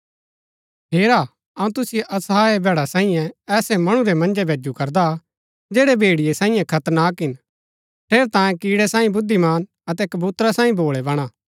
हेरा अऊँ तुसिओ असहाय भैडा साईयें ऐसै मणु रै मन्जै भैजु करदा जैड़ै भेड़िये सांईये खतरनाक हिन ठेरै तांयें कीड़ै सांई बुद्धिमान अतै कबूतरा सांई भोळै बणा